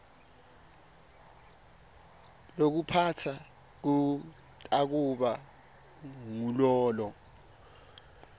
lokuphatsa kutakuba ngulolo